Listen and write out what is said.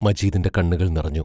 മജീദിന്റെ കണ്ണുകൾ നിറഞ്ഞു.